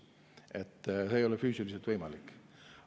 Nii et see ei ole füüsiliselt võimalik.